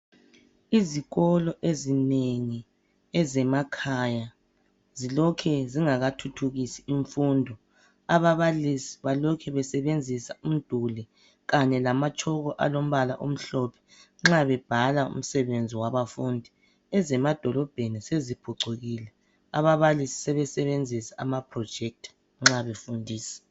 Izikolo ezinengi ezemakhaya zilokhe zingaka thuthukisi imfundo. Ababalisi balokhe besebenzisa umduli kanye lamatshoko alombala omhlophe nxa bebhala umsebenzi wabafundi. Ezemadolobheni seziphucukile ababalisi sebesebenzisa amaprojector nxa befundisa.